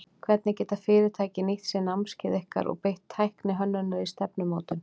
Hvernig geta fyrirtæki nýtt sér námskeið ykkar og beitt tækni hönnunar í stefnumótun?